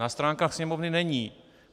Na stránkách Sněmovny není.